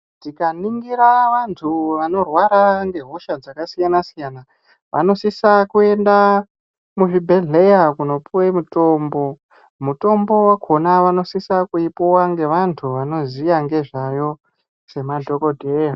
Tikaningira antu anorwara ne hosha dzakasiyana siyana anosisa Kuenda kuzvibhedhlera kunopiwe mitombo, mitombo wakona vanosisa kuyipuwa ngevanhu vanoziya ngezvayo sema dhokodheya.